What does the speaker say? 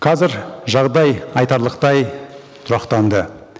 қазір жағдай айтарлықтай тұрақтанды